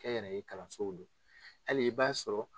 Kɛnyɛrɛye kalansow do hali i b'a sɔrɔ.